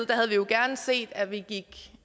havde vi jo gerne set at vi gik